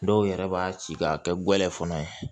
Dɔw yɛrɛ b'a ci k'a kɛ gɛlɛ fana ye